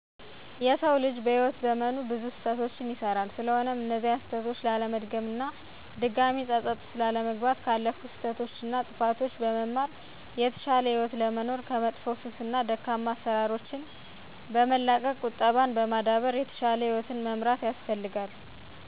የሰው ልጅ በህይዎት ዘመኑ ብዙ ስህተቶችን ይሰራል ስለሆነም እነዚያን ስህተቶች ላለመድገም እና ድጋሜ ፀፀት ውስጥ ላለመግባት ካለፉት ስህተቶች እና ጥፋቶች በመማር የተሻለ ህይወት ለመኖር ከመጥፎ ሱስ እና ደካማ አሰራሮችን በመላቀቅ ቁጠባን በማዳበር የተሻለ ህይወትን መምራት ያስፈልጋል።